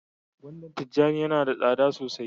gwandan tijani Yana da tsada sosai.